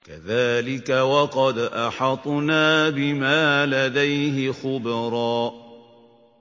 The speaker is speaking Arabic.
كَذَٰلِكَ وَقَدْ أَحَطْنَا بِمَا لَدَيْهِ خُبْرًا